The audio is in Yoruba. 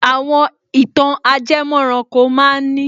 Àwọn ìtàn ajẹmọ́ranko ma ń ní